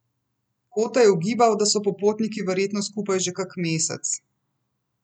Kote je ugibal, da so popotniki verjetno skupaj že kak mesec.